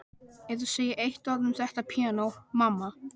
Ef þú segir eitt orð um þetta píanó, mamma.